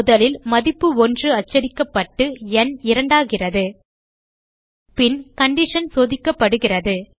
முதலில் மதிப்பு 1 அச்சடிக்கப்பட்டு ந் இரண்டாகிறது பின் கண்டிஷன் சோதிக்கப்படுகிறது